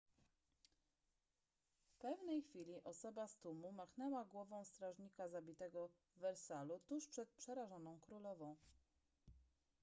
w pewnej chwili osoba z tłumu machnęła głową strażnika zabitego w wersalu tuż przed przerażoną królową